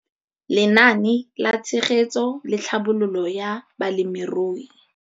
Lenaane la Tshegetso le Tlhabololo ya Balemirui.